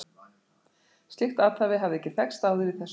Slíkt athæfi hafði ekki þekkst áður í þessu byggðarlagi.